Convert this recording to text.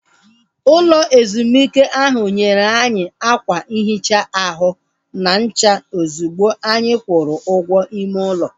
Ụlọ ezumike ahu nyere anyị ákwà nhicha ahụ na ncha ozigbo anyị kwụrụ ụgwọ ime ụlọ